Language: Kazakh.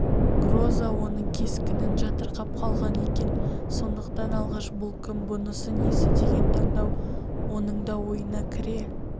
гроза оның кескінін жатырқап қалған екен сондықтан алғаш бұл кім бұнысы несі деген таңдау оның да ойына кіре